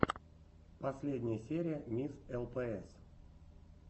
последняя серия мисс лпс